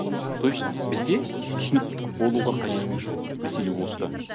то есть бізде түсініктік болуға қажеттік жоқ мәселе осында